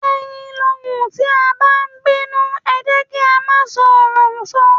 Ẹyin lohùn, tí a bá ń bínú, ẹ jẹ́ kí á máa ṣọ́ ọ̀rọ̀ sọ.